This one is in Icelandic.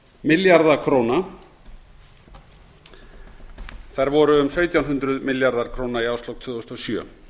milljarða króna þær voru um sautján hundruð milljarðar króna í árslok tvö þúsund og sjö